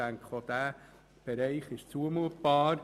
auch dieser Bereich ist zumutbar.